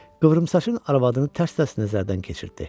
Qıvrım saçın arvadını tərs-tərs nəzərdən keçirtdi.